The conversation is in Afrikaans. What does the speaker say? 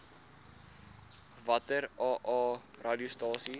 watter aa radiostasies